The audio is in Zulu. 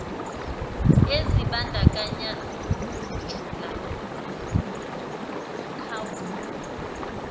ezibandakanya ukujula nomkhawulo